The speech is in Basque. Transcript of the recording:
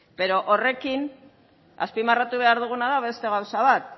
baina horrekin azpimarratu behar duguna da beste gauza bat